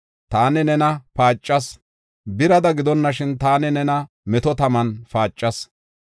Taani nena paacas; birada gidonashin taani nena meto taman paacas.